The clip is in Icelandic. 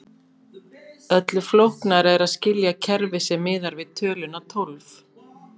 Öllu flóknara er að skilja kerfi sem miðar við töluna tólf.